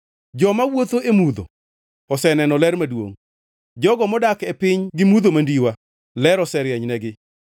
Joma wuotho e mudho oseneno ler maduongʼ; jogo modak e piny man-gi mudho mandiwa, ler oserienynegi.